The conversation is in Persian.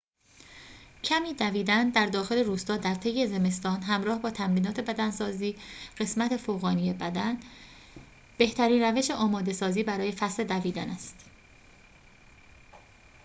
کمی دویدن در داخل روستا درطی زمستان همراه با تمرینات بدنسازی قسمت فوقانی بدن بهترین روش آماده سازی برای فصل دویدن است